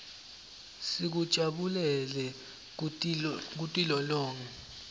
sikujabulele kutilolonga